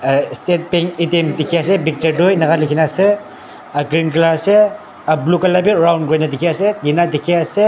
ah state bank atm dekhi asa picture tu enika likha asa aru green colour asa aru blue colour vi round kurina dekhi asa tina dekhi ase.